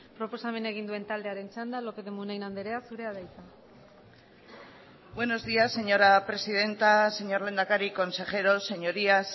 proposamena egin duen taldearen txanda lópez de munain andrea zurea da hitza buenos días señora presidenta señor lehendakari consejeros señorías